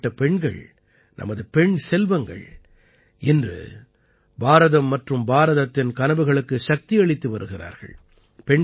இப்படிப்பட்ட பெண்கள் நமது பெண் செல்வங்கள் இன்று பாரதம் மற்றும் பாரதத்தின் கனவுகளுக்கு சக்தியளித்து வருகிறார்கள்